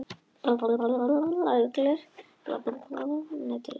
Uglur eru vel aðlagaðar veiðum að næturlagi.